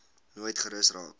nooit gerus raak